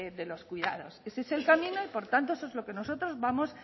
de los cuidados ese es el camino y por tanto eso es lo que nosotros vamos